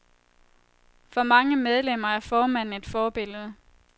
For mange medlemmer er formanden et forbillede.